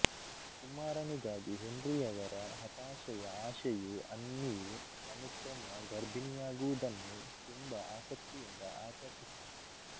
ಕುಮಾರನಿಗಾಗಿ ಹೆನ್ರಿಯವರ ಹತಾಶೆಯ ಆಶೆಯು ಅನ್ನಿಯು ಅನುಕ್ರಮ ಗರ್ಭಿಣಿಯಾಗುವುದನ್ನು ತುಂಬ ಆಸಕ್ತಿಯಿಂದ ಆಕರ್ಷಿಸಿತು